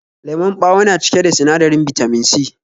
Lemon ɓawo na cike da sinadarin Bitamin C